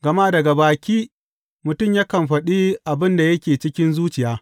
Gama daga baki, mutum yakan faɗi abin da yake cikin zuciya.